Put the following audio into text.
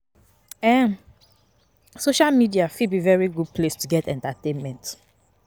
um Social media fit be very good place to get entertainment